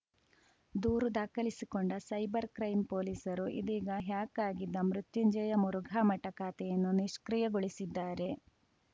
ದೂರು ದಾಖಲಿಸಿಕೊಂಡ cyber crime ಪೊಲೀಸರು ಇದೀಗ ಹ್ಯಾಕ್‌ ಆಗಿದ್ದ ಮೃತ್ಯುಂಜಯ ಮುರುಘಾಮಠ ಖಾತೆಯನ್ನು ನಿಷ್ಕ್ರಿಯಗೊಳಿಸಿದ್ದಾರೆ